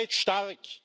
Ihr seid stark!